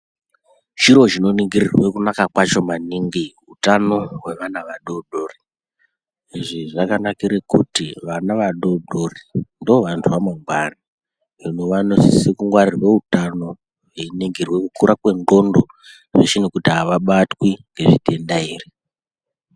Chiro chinoningirirwe kunaka kwacho maningi utano hwevana vadoodori. Izvi zvakanakire kuti vana vadoodori ndoovantu vamangwani. Hino vanosise kungwarirwe utano veiningirwe kukura kwendxondo zveshe nekuti havabatwi nezvitenda here.